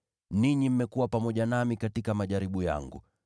Ninyi mmekuwa pamoja nami katika majaribu yangu.